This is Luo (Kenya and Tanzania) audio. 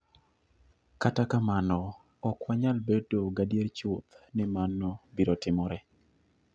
Kata kamano, ok wanyal bedo gadier chuth ni mano biro timore.